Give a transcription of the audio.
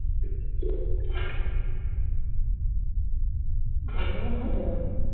ভাত বসানো হয়েছিল?